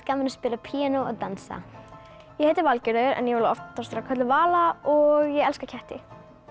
gaman að spila á píanó og dansa ég heiti Valgerður en ég vil oftast vera kölluð Vala og ég elska ketti